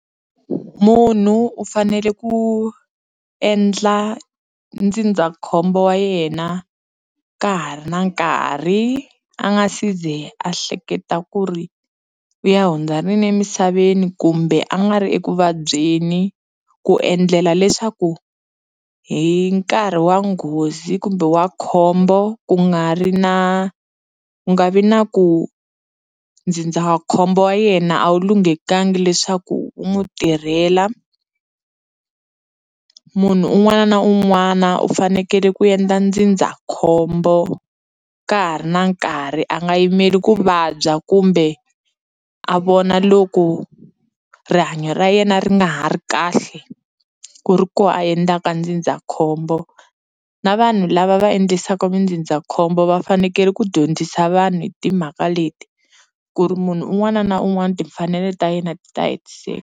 Munhu u fanele ku endla ndzindzakhombo wa yena ka ha ri na nkarhi a nga si ze a hleketa ku ri u ya hundza rini emisaveni kumbe a nga ri ekuvabyeni ku endlela leswaku hi nkarhi wa nghozi kumbe wa khombo ku nga ri na ku nga vi na ku ndzindzakhombo wa yena a wu lunghekangi leswaku wu n'wi tirhela munhu un'wana na un'wana u fanekele ku endla ndzindzakhombo ka ha ri na nkarhi a nga yimeli ku vabya kumbe a vona loko rihanyo ra yena ri nga ha ri kahle ku ri kona a endlaka ndzindzakhombo na vanhu lava va endlisaka mindzindzakhombo va fanekele ku dyondzisa vanhu hi timhaka leti ku ri munhu un'wana na un'wana timfanelo ta yena ti ta hetiseka.